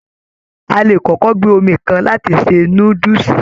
A le kọkọ gbé omi kan láti ṣe núdúsí.